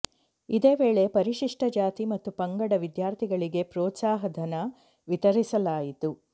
ಇದೇ ವೇಳೆ ಪರಿಶಿಷ್ಟ ಜಾತಿ ಮತ್ತು ಪಂಗಡ ವಿದ್ಯಾರ್ಥಿಗಳಿಗೆ ಪ್ರೋತ್ಸಹಧನ ವಿತರಿಸಲಾಯಿತು